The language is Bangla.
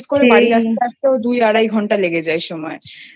করে বাড়ি আস্তে আসতেই দুই আড়াই ঘন্টা লেগে যাই সময়